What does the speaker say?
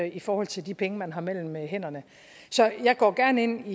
i forhold til de penge man har mellem hænderne så jeg går gerne ind